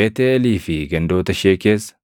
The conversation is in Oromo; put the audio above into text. Beetʼeelii fi gandoota ishee keessa,